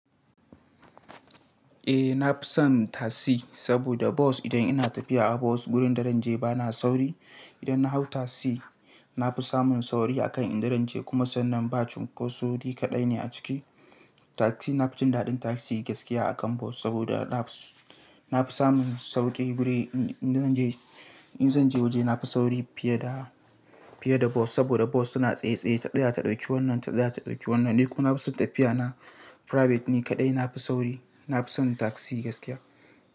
Eh, na fi son tasi saboda bus idan ina tafiya a bus wurin da zan je ba na sauri. Idan na hau tasi, na fi samun sauri a kan in zan je kuma sannan ba cunkoso ni kaɗai ne a ciki. Tasi na fi jin daɗin tasi gaskiya a kan bus saboda na fi samun sauƙi wurin in zan je. In zan je waje na fi sauri fiye da, fiye da bos saboda bos tana tsaye tsaye, ta ɗaya ta ɗauki wannan, ta ɗaya ta ɗauki wannan. Dai kuma tafiya na private ne kaɗai. Na fi sauri, na fi son tasi gaskiya.